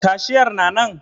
Cashier na nan?